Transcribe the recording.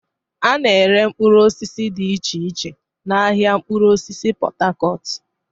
A na-ere mkpụrụ osisi dị iche iche n'ahịa mkpụrụ osisi Pot Tarcot.